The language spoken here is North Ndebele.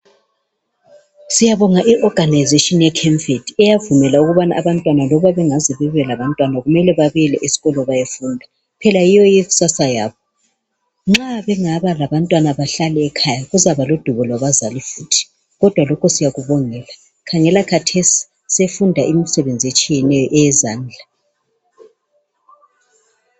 siyabonga i organization eye CAMFED eyavumela abantwana ukubana bengaze bebelabantwana kumele babuyele esikolo bayefunda phela yiyo ikusasa yabo nxa bengaba labantwana behlale ekhaya bazaba ludubo lwabazali futhi kodwa lokho siyakubongela khangela khathesi sefunda imisebenz etshiyeneyo eyezandla